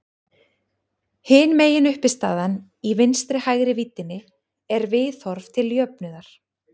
Hin meginuppistaðan í vinstri-hægri víddinni er viðhorf til jöfnuðar.